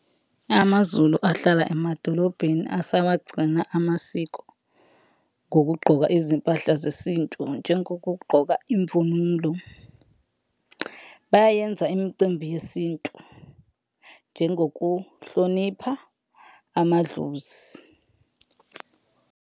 Amazulu ahlala emadolobheni asawagcina amasiko, ngokugqoka izimpahla zesintu njengokugqoka imvunulo. Bayayenza imicimbi yesintu njengokuhlonipha amadlozi.